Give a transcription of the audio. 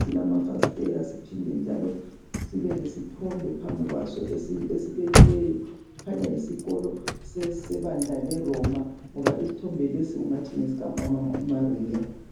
silamafasitela siphinde njalo sibe lesithombe phambi kwaso esibekiweyo kukhanya yisikolo sebandla leRoma ngoba isithombe lesi kungathi ngesika mama uMariya.